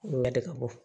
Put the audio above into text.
ka bɔ